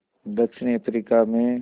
दक्षिण अफ्रीका में